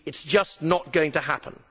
It is just not going to happen.